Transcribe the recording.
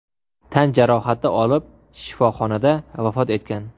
tan jarohati olib shifoxonada vafot etgan.